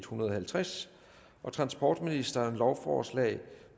hundrede og halvtreds transportministeren lovforslag